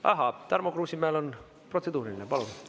Ahaa, Tarmo Kruusimäel on protseduuriline, palun!